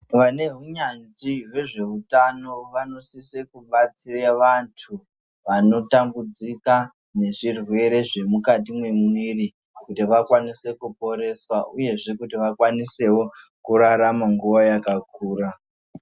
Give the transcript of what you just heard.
Vane hunyanzvi hwezveutano vanosise kubatsire vantu vanotambudzika ngezvirwere zvemukati mwemumeiri kuti vakwanise kuporeswa uyezve kuti vakwanisewo kurarama nguwa yakakura .